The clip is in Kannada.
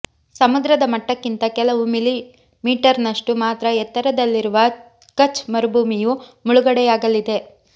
ಸಮುದ್ರದ ಮಟ್ಟಕ್ಕಿಂತ ಕೆಲವು ಮಿಲಿಮೀಟರ್ನಷ್ಟು ಮಾತ್ರ ಎತ್ತರದಲ್ಲಿರುವ ಕಛ್ ಮರುಭೂಮಿಯು ಮುಳುಗಡೆಯಾಗಲಿದೆ